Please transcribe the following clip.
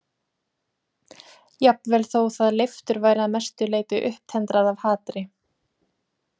Jafnvel þótt það leiftur væri að mestu leyti upptendrað af hatri.